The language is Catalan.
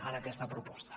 en aquesta proposta